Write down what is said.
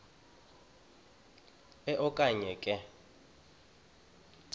e okanye nge